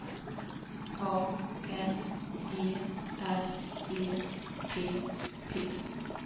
A N G R E P P